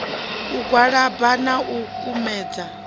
u gwalaba na u kumedza